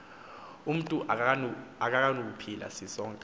umntu akanakuphila sisonka